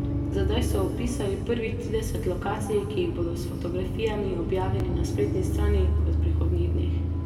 Za zdaj so opisali prvih trideset lokacij, ki jih bodo s fotografijami objavili na spletni strani v prihodnjih dneh.